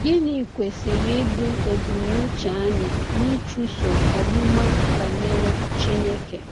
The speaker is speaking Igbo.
Gịnị kwesịrị ịbụ ebumnuche anyị n’ịchụso ọmụma banyere Chineke?